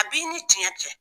A b'i ni tiɲɛ cɛ